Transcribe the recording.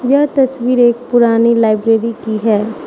यह तस्वीर एक पुरानी लाइब्रेरी की है।